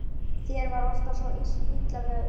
Þér var alltaf svo illa við sjúkrahús.